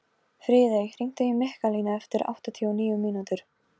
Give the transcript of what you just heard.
Friðey, hringdu í Mikkalínu eftir áttatíu og níu mínútur.